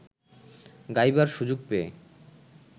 গাইবার সুযোগ পেয়ে